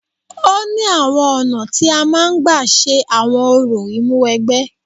Ó ní àwọn ọ̀nà tí a máa ń gba ṣe àwọn orò Ìmúwẹgbẹ́